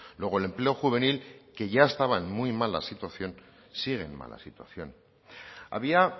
luego el empleo juvenil que ya estaba en muy mala situación sigue en mala situación había